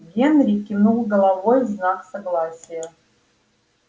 генри кивнул головой в знак согласия